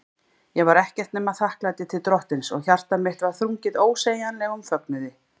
Ég var ekkert nema þakklæti til Drottins, og hjarta mitt var þrungið ósegjanlegum fögnuði.